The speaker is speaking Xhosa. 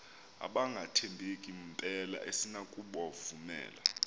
abangathembeki mpela asinakubovumela